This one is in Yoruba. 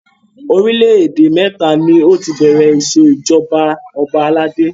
Orílẹ̀ èdè mẹ́ta ni ó ti bẹ̀rẹ̀ ìṣèjọba ọba aládé.